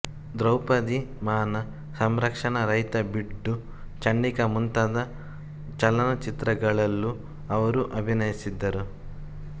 ದ್ರೌಪದಿ ಮಾನ ಸಂರಕ್ಷಣ ರೈತ ಬಿಡ್ಡು ಚಂಡಿಕಾ ಮುಂತಾದ ಚಲನಚಿತ್ರಗಳಲ್ಲೂ ಅವರು ಅಭಿನಯಿಸಿದ್ದರು